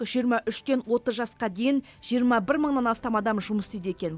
жиырма үштен отыз жасқа дейін жиырма бір мыңнан астам адам жұмыс істейді екен